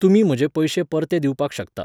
तुमी म्हजे पयशे परते दिवपाक शकता